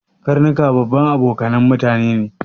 Karnuka babban abokanan mutane ne